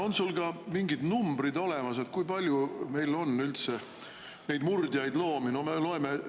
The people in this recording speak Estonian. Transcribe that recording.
On sul ka mingid numbrid olemas, kui palju meil neid murdjaid loomi üldse on?